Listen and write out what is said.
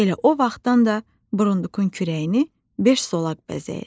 Elə o vaxtdan da burundukun kürəyini beş zolaq bəzəyir.